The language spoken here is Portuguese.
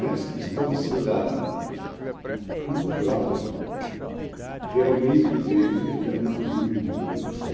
Nessa questão assim, da, cultural, realmente, quer dizer, eles não tiveram uma grande preocupação.